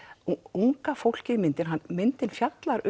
unga fólkið í myndinni myndin fjallar